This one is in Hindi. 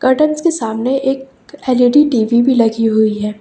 करटेंस के सामने एक एल_इ_डी टी_वी भी लगी हुई है।